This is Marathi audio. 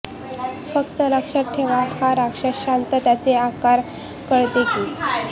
फक्त लक्षात ठेवा हा राक्षस शांत त्याचे आकार कळते की